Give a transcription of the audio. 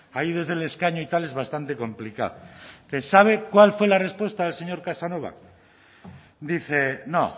ahí desde el escaño y tal es bastante complicado sabe cuál fue la respuesta del señor casanova dice no